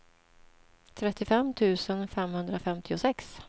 trettiofem tusen femhundrafemtiosex